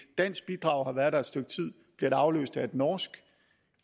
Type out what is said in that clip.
dansk bidrag har været der et stykke tid bliver det afløst af et norsk